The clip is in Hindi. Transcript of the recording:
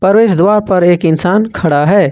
प्रवेश द्वार पर एक इंसान खड़ा है।